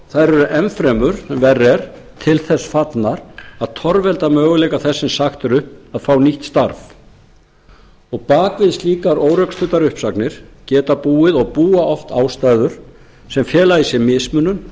þær eru enn fremur sem verra er til þess fallnar að torvelda möguleika þess sem sagt er upp að fá nýtt starf bak við slíkar órökstuddar uppsagnir geta búið og búa oft ástæður sem fela í sér mismunun